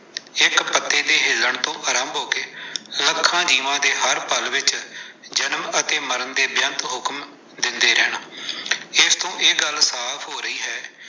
ਇੱਕ ਪੱਤੇ ਦੇ ਹਿੱਲ਼ਣ ਤੋਂ ਆਰੰਭ ਹੋ ਕੇ, ਲੱਖਾਂ ਜੀਵਾਂ ਦੇ ਹਰ ਪਲ ਵਿੱਚ ਜਨਮ ਅਤੇ ਮਰਨ ਦੇ ਬੇਅੰਤ ਹੁਕਮ ਦਿੰਦੇ ਰਹਿਣਾ, ਏਸ ਤੋਂ ਇਹ ਗੱਲ ਸਾਫ ਹੋ ਰਹੀ ਹੈ।